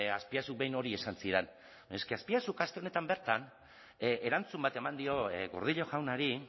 azpiazuk behin hori esan zidan baina es que azpiazuk aste honetan bertan erantzun bat eman dio gordillo jaunari